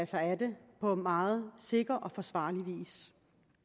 sig af det på meget sikker og forsvarlig vis